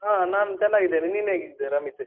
ಹ ನಾನ್ ಚೆನ್ನಾಗಿದ್ದೇನೆ, ನೀನ್ ಹೇಗಿದ್ದೀಯಾ ರಮಿತ್?